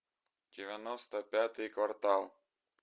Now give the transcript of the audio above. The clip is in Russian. девяносто пятый квартал